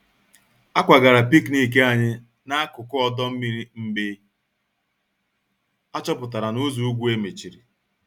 A kwagara picnic anyị n'akụkụ ọdọ mmiri mgbe achọpụtara na ụzọ ùgwù e mechiri